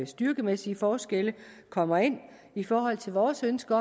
styrkemæssige forskelle kommer ind i forhold til vores ønske